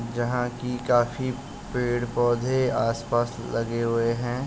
जहाँ कि काफी पेड़-पौधे आसपास लगे हुए हैं।